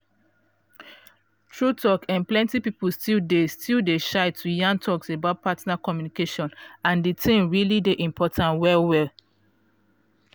true talk eh plenty people still dey still dey shy to yan talks about partner communication and the thing really dey important well well.